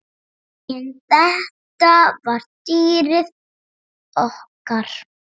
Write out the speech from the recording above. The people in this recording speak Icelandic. En þetta var dýrið okkar.